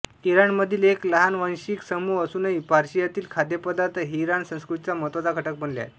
इराणमधील एक लहान वांशिक समूह असूनही पर्शियातील खाद्यपदार्थ हे इराणी संस्कृतीचा महत्त्वाचा घटक बनले आहेत